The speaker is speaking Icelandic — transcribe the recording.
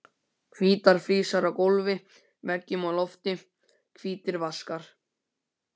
Hvítar flísar á gólfi, veggjum og lofti, hvítir vaskar.